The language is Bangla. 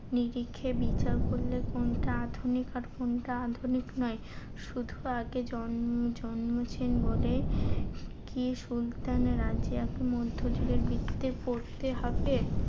নিরিখে বিচার করলে কোনটা আধুনিক আর কোনটা আধুনিক নয়। শুধু আগে জন্মে~ জন্মেছেন বলেই কি সুলতান রাজিয়াকে মধ্যযুগের বৃত্তে পড়তে হবে?